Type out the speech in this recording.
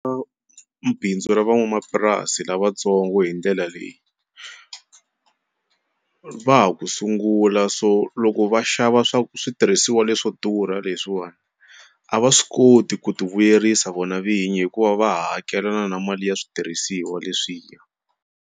bindzu ra van'wamapurasi lavatsongo hi ndlela leyi va ha ku sungula so loko va xava swa switirhisiwa leswo durha leswiwani a va swi koti ku ti vuyerisa vona vinyi hikuva va hakelana na mali ya switirhisiwa leswiya.